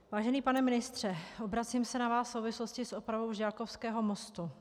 Vážený pane ministře, obracím se na vás v souvislosti s opravou Žďákovského mostu.